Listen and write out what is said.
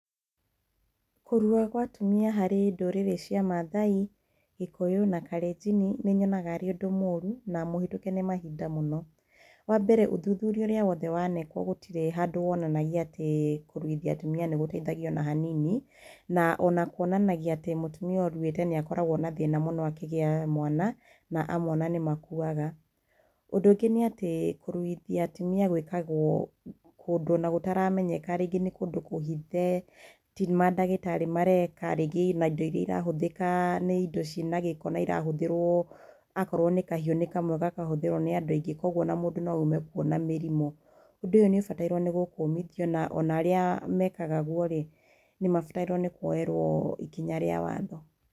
Kũrua kwa atumia harĩ ndũrĩrĩ cia Maathai, Gĩkũyũ na Kalenjin, nĩ nyonaga arĩ ũndũ mũru na mũhĩtũke nĩ mahinda mũno. Wa mbere, ũthuthuria ũrĩa wothe waneekwo gũtirĩ handũ wonanagia atĩ kũruithia atumia nĩ gũteithagia o na hanini. Na o na kwonanagia atĩ mũtumia ũruĩte nĩ akoragwo na thĩna mũno akĩgĩa mwana na amwe o na nĩ makuaga. Ũndũ ũngĩ nĩ atĩ kũruithia atumia gwĩkagwo kũndũ o na gũtaramenyeka, rĩngĩ nĩ kũndũ kũhithe, ti mandagĩtarĩ mareeka, rĩngĩ o na indo irahũthĩka nĩ indo ciĩna gĩko na irahũthĩrwo, akorwo nĩ kahiũ, nĩ kamwe gakahũthĩrwo nĩ andũ aingĩ kwoguo o na mũndũ no ume kuo na mĩrimũ. Ũndũ ũyũ nĩ ũbatairwo nĩ gũkũmithio na ona arĩa meekaga guo rĩ, nĩ mabatairwo nĩ kũoerwo ikinya rĩa watho.